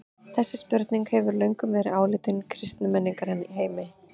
Þessi spurning hefur löngum verið áleitin í kristnum menningarheimi.